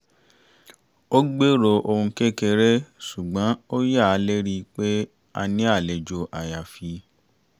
a gbèrò ohun kékeré ṣùgbọ́n a yà lérìí pé a ní àlejò àyàfi